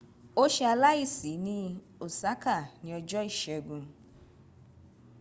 o ṣe aláìsi ní osaka ní ọjọ́ ìségun